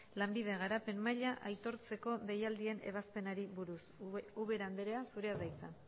lanbide garapen maila aitortzeko deialdien ebazpenari buruz ubera andrea zurea da hitza